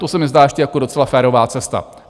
To se mi zdá ještě jako docela férová cesta.